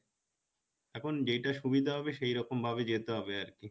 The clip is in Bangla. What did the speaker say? এখন যেটা সুবিধা হবে সেইরকম ভাবে যেতে হবে আরকি